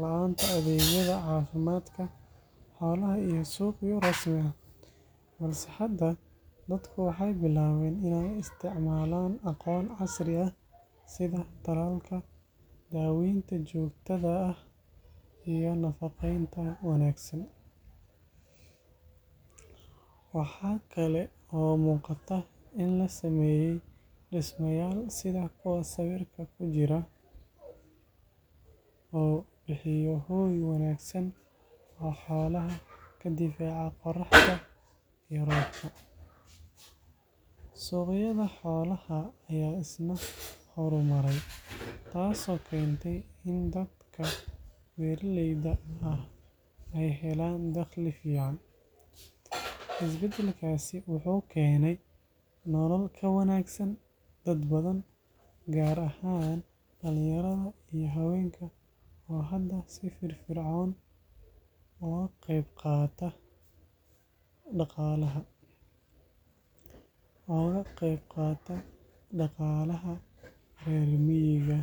la’aanta adeegyada caafimaadka xoolaha iyo suuqyo rasmi ah. Balse hadda dadku waxay bilaabeen in ay isticmaalaan aqoon casri ah sida talaalka, daawaynta joogtada ah iyo nafaqeynta wanaagsan. Waxaa kale oo muuqata in la sameeyay dhismayaal sida kuwa sawirka ku jira, oo bixiya hooy wanaagsan oo xoolaha ka difaaca qorraxda iyo roobka. Suuqyada xoolaha ayaa isna horumaray, taasoo keentay in dadka beeraleyda ah ay helaan dakhli fiican. Isbedelkaasi wuxuu keenay nolol ka wanaagsan dad badan, gaar ahaan dhalinyarada iyo haweenka oo hadda si firfircoon uga qeyb qaata dhaqaalaha reer miyiga.